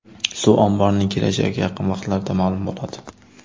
Suv omborining kelajagi yaqin vaqtlarda ma’lum bo‘ladi.